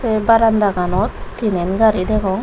tey barandaganot tinen gaari degong.